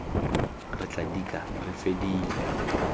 re tla dika re fedile